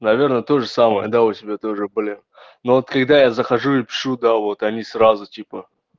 наверное тоже самое да у тебя тоже блин но вот когда я захожу и пишу да вот они сразу типа